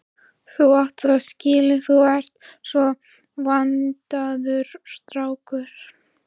Þú átt það skilið, þú ert svo vandaður strákur.